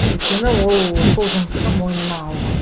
өйткені ол сол жұмысты мойнына алған